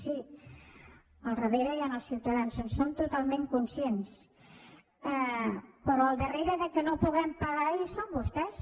sí al darrere hi han els ciutadans en som totalment conscients però al darrere que no puguem pagar hi són vostès